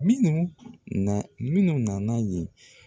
Minnu na, minnu nana yen.